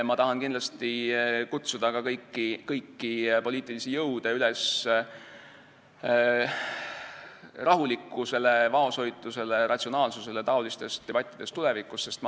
Ma tahan kindlasti kutsuda kõiki poliitilisi jõude üles rahulikkusele, vaoshoitusele ja ratsionaalsusele taolistes debattides tulevikus.